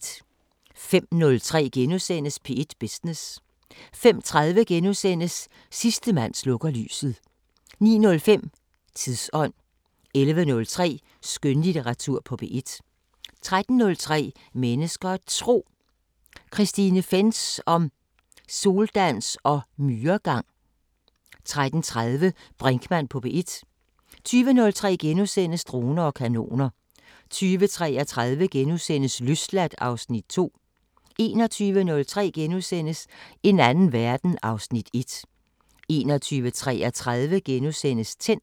05:03: P1 Business * 05:30: Sidste mand slukker lyset * 09:05: Tidsånd 11:03: Skønlitteratur på P1 13:03: Mennesker og Tro: Christine Fentz om soldans og myregang 13:30: Brinkmann på P1 20:03: Droner og kanoner * 20:33: Løsladt (Afs. 2)* 21:03: En anden verden (Afs. 1)* 21:33: Tændt *